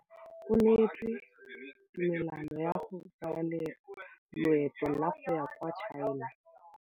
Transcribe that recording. O neetswe tumalanô ya go tsaya loetô la go ya kwa China.